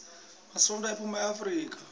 matsonga aphuma eafrika